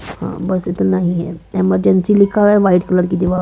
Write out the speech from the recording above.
बस इतना ही है इमरजेंसी लिखा है वाइट कलर की दिवार--